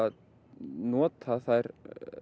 notað þær